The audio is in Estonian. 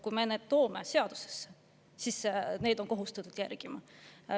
Kui me toome need seadusesse, siis on kohustus neid järgida.